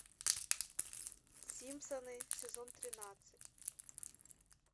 симпсоны сезон тринадцать